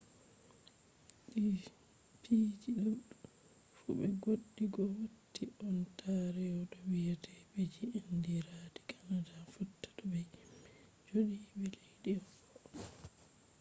di piiji do fu be goɗɗi goo watti ontario to wiyete piiji andiradi canada fotta to be himɓe joodiɓe leddi goo